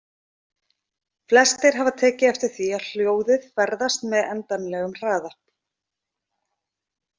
Flestir hafa tekið eftir því að hljóðið ferðast með endanlegum hraða.